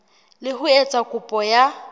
le ho etsa kopo ya